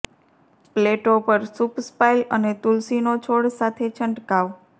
પ્લેટો પર સૂપ સ્પાઈલ અને તુલસીનો છોડ સાથે છંટકાવ